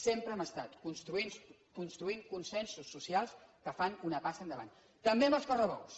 sempre hem estat construint consensos socials que fan una passa endavant també amb els correbous